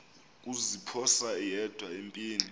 kuziphosa yedwa empini